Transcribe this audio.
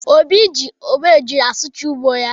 Obi ji obejiri asụcha ugbo ya.